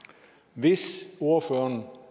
hvis ordføreren